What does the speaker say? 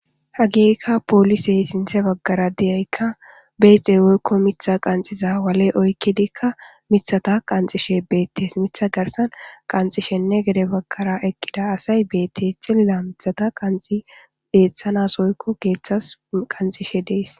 Hageyka poolisey sinte baggara deyaykka beyxey woykko mitha qanxiza wale oykkidikka mithata qanxishe beettes mitha garsan qanxishenne gede baggara ekkida asay bette xilila mithata qanxi beeththanas oykko geeththas qanxishe dees